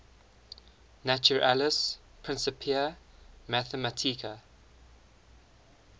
naturalis principia mathematica